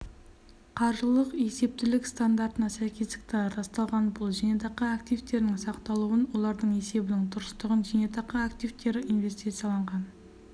қаржылық есептілік стандартына сәйкестікті расталған бұл зейнетақы актвитерінің сақталуын олардың есебінің дұрыстығын зейнетақы активтері инвестицияланған